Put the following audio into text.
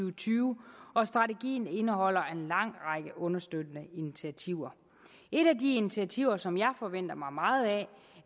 og tyve og strategien indeholder en lang række understøttende initiativer et af de initiativer som jeg forventer mig meget af